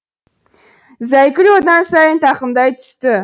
зайкүл одан сайын тақымдай түсті